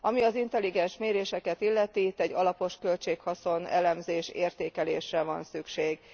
Ami az intelligens méréseket illeti, itt egy alapos költség haszon értékelésre van szükség.